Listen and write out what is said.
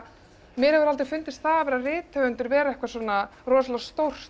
mér hefur aldrei fundist það að vera rithöfundur vera eitthvað svona rosalega stórt